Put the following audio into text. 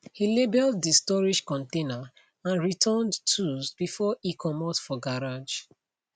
he labeled de storage container and returned tools before e comot for garage